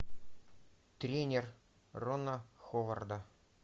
тренер рона ховарда